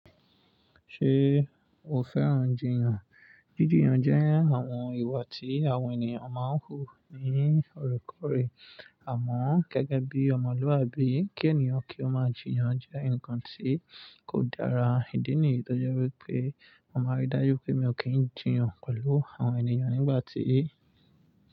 Ṣé o fẹ́ràn jìyàn? Jíjìyàn jẹ́ àwọn ìwà tí àwọn ènìyàn máa ń hù ní òrékòóré àmọ́ gẹ́gẹ́ bí ọmọlúàbí kí ènìyàn kí ó máa jìyàn jẹ́ nǹkan tí kò dára. Ìdí nìyí tó jẹ́ wípé mo máa rí dájú pé mi ò kí ń jìyàn pẹ̀lú àwọn ènìyàn nígbà tí.